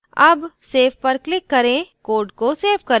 अब save पर click करें code को सेव करें